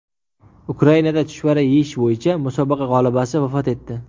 Ukrainada chuchvara yeyish bo‘yicha musobaqa g‘olibasi vafot etdi.